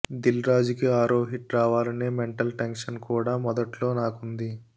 దిల్రాజుకి ఆరో హిట్ రావాలనే mental tension కూడా మొదట్లో నాకుంది